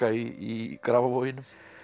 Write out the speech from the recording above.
í Grafarvoginum